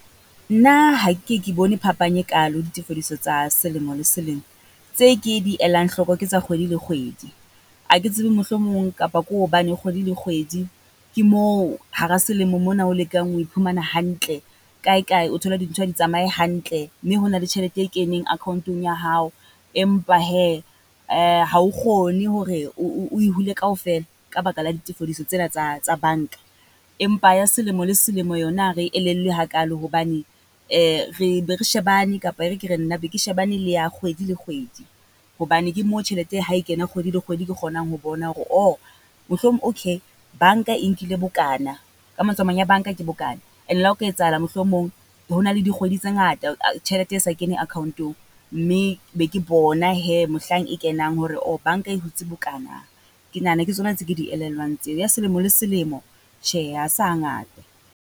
Nna ha ke ke ye ke bone phapang e kalo ditefilediso tsa selemo le selemo, tse ke di elang hloko ke tsa kgwedi le kgwedi. Ha ke tsebe mohlomong kapa ko hobane kgwedi le kgwedi ke moo hara selemo mona o lekang ho iphumana hantle kae kae o thole dintho ha di tsamae hantle. Mme ho na le tjhelete e keneng account-ong ya hao. Empa hee ha o kgone hore oe hule kaofela ka baka la ditefediso tsena tsa tsa banka. Empa ya selemo le selemo yona ha re e elellwe hakalo hobane re be re shebane kapa e re ke re nna e be ke shebane le ya kgwedi le kgwedi. Hobane ke mo tjhelete ha e kena kgwedi le kgwedi, ke kgonang ho bona hore o mohlomong, okay banka e nkile bokana. Ka mantswe a mang ya banka ke bokana, ene le ha o ka etsahala mohlomong ho na le dikgwedi tse ngata tjhelete e sa kene account-ong, mme be ke bona hee mohlang e kenang hore banka e hutse bokana. Ke nahana ke tsona tse ke di elellwang tseo, ya selemo le selemo, tjhe ha se ha ngata.